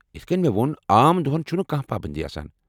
یتھہٕ کٔنۍ مےٚ ووٚن ، عام دۄہن چُھنہٕ کانٛہہ پابنٛدی آسان ۔